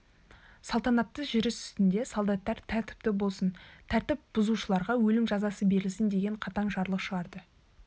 салтанатты жүріс үстінде солдаттар тәртіпті болсын тәртіп бұзушыларға өлім жазасы берілсін деген қатаң жарлық шығарды